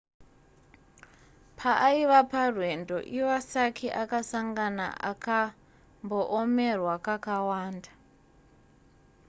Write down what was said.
paaiva parwendo iwasaki akasangana akamboomerwa kakawanda